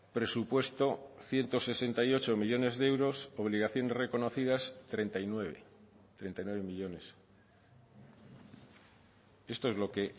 presupuesto ciento sesenta y ocho millónes de euros obligaciones reconocidas treinta y nueve treinta y nueve millónes esto es lo que